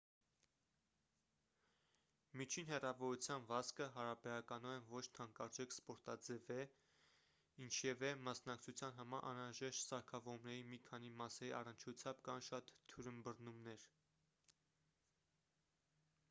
միջին հեռավորության վազքը հարաբերականորեն ոչ թանկարժեք սպորտաձև է ինչևէ մասնակցության համար անհրաժեշտ սարքավորումների մի քանի մասերի առնչությամբ կան շատ թյուրըմբռնումներ